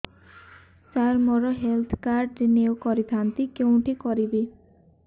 ସାର ମୋର health card renew କରିଥାନ୍ତି କେଉଁଠି କରିବି